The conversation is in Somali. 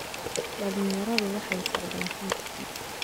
Dhalinyaradu waxay socdaan fiidkii